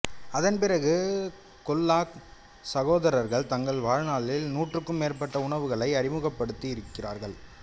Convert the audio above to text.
அதன்பிறகு கெல்லாக் சகோதரர்கள் தங்கள் வாழ்நாளில் நூற்றுக்கும் மேற்பட்ட உணவுகளை அறிமுகப்படுத்தியிருக்கிறார்கள்